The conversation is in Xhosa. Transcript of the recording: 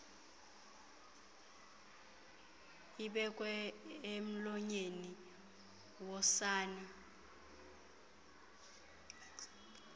ibekwe emlonyeni wosana